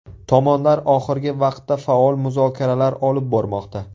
Tomonlar oxirgi vaqtda faol muzokaralar olib bormoqda.